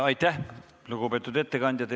Aitäh, lugupeetud ettekandja!